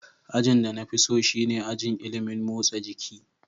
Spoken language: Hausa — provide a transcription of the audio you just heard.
Ajin da na fi so shine ajin ilimin motsa jiki.